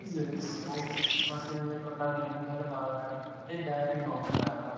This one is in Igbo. Izere esemokwu na ndị nlekọta na-enyere m aka ịgagharị n'omenala